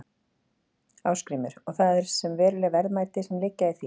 Ásgrímur: Og það eru veruleg verðmæti sem liggja í því?